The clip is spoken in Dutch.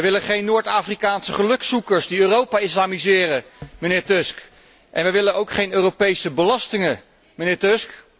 Wij willen geen Noord Afrikaanse gelukzoekers die Europa islamiseren, mijnheer Tusk, en we willen ook geen Europese belastingen, mijnheer Tusk.